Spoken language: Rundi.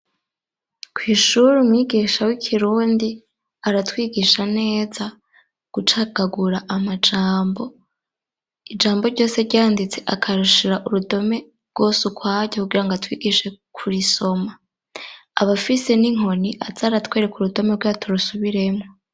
Kw'ishuri, umwigisha w'ikirundi aratwigisha neza gucagagura amajambo. Ijambo ryose ryanditse, akarishira urutome rwose ukwaryo kugira ngo atwigishe kurisoma. Abafise n'inkoni aza aratwereka urudome kugira turusubiremwo.